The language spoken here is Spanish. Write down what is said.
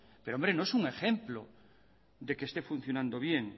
pero hombre no es un ejemplo de que esté funcionando bien